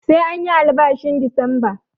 Sai anyi albashin Disamba